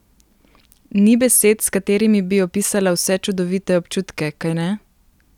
Ni besed, s katerimi bi opisala vse čudovite občutke, kajne?